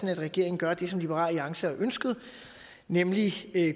at regeringen gør det som liberal alliance har ønsket nemlig